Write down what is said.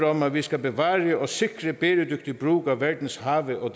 om at vi skal bevare og sikre bæredygtig brug af verdens have og